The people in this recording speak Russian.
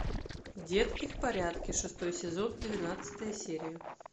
детки в порядке шестой сезон двенадцатая серия